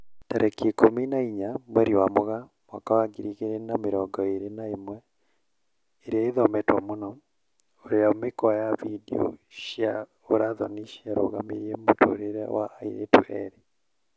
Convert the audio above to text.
Tarĩki ikũmi na inya mweri wa Mũgaa mwaka wa ngiri igĩri na mĩrongo ĩri na ĩmwe, ĩria ĩthometwo mũno: ũrĩa mĩkwa ya video cia ũra thoni ciarũgamirie mũtũrĩre wa airĩtu erĩ